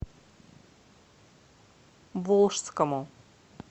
волжскому